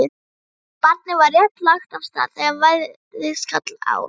Barnið var rétt lagt af stað þegar veðrið skall á.